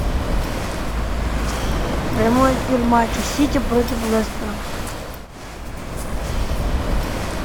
прямой эфир матча сити против лестера